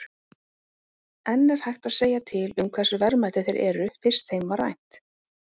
En er hægt að segja til um hversu verðmætir þeir eru, fyrst þeim var rænt?